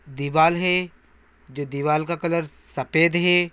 दीवाल है जो दीवाल का कलर सफेद है।